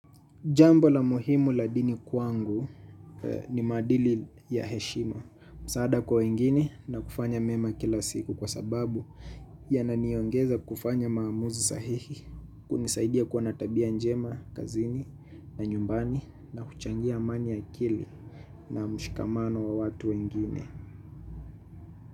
Jambo la muhimu la dini kwangu ni maadili ya heshima, msaada kwa wengine na kufanya mema kila siku kwa sababu yananiongeza kufanya maamuzi sahihi, kunisaidia kuwa na tabia njema kazini na nyumbani na kuchangia amani ya akili na mshikamano wa watu wengine.